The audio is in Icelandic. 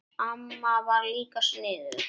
Amma var líka sniðug.